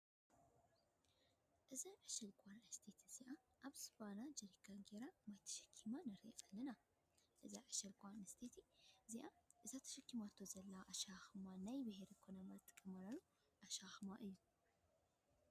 እዛ ዕሸል ጓል አነስተይቲ እዚኣ ኣብ ዝባና ብጀረካን ጌራ ማይ ተሸኪማ ንሪኣ ኣለና። እዛ ዕሻል ጓለ ኣነስተይቲ እዚኣ እቲ ተሸኪማቶ ዘላ ኣሸካክማ ናይ ቢሔረ ኩና ዝጥቀማሉ ኣሸካክማ እዩ።